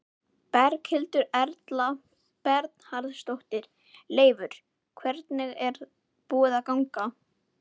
Berghildur Erla Bernharðsdóttir: Leifur, hvernig er búið að ganga?